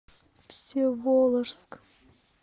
всеволожск